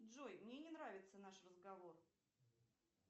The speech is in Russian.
джой мне не нравится наш разговор